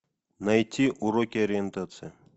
найти уроки ориентации